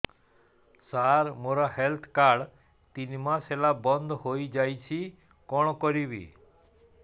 ସାର ମୋର health card ତିନି ମାସ ହେଲା ବନ୍ଦ ହେଇଯାଇଛି କଣ କରିବି